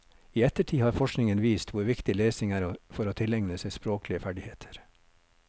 I ettertid har forskningen vist hvor viktig lesing er for å tilegne seg språklige ferdigheter.